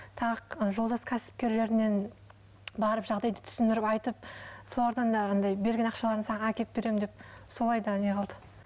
тағы жолдас кәсіпкерлерінен барып жағдайды түсіндіріп айтып солардан да андай берген ақшаларын саған әкеліп беремін деп солай да не қылды